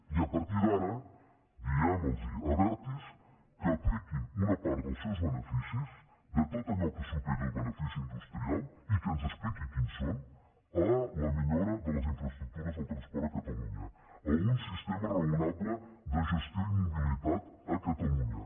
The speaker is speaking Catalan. i a partir d’ara diguem los a abertis que apliquin una part dels seus beneficis de tot allò que superi el benefici industrial i que ens expliqui quins són a la millora de les infraestructures del transport a catalunya a un sistema raonable de gestió i mobilitat a catalunya